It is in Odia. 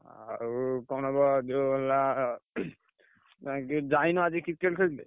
ଆଉ କଣ ବା ଯୋଉ ହେଲା ଯାଇନ ଆଜି Cricket ଖେଳିତେ?